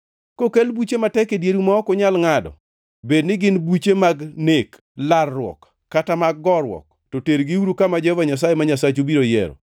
Kokel buche matek e dieru ma ok unyal ngʼado, bedni gin buche mag nek, larruok kata mag goruok, to tergiuru kama Jehova Nyasaye ma Nyasachu biro yiero.